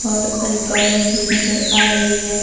और एक औरत भी नजर आ रही है।